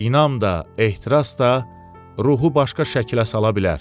İnam da, ehtiras da, ruhu başqa şəklə sala bilər.